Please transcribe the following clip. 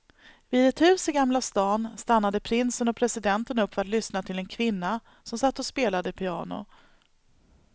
Vid ett hus i gamla stan stannade prinsen och presidenten upp för att lyssna till en kvinna som satt och spelade piano.